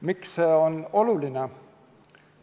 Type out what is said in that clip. Miks see on oluline?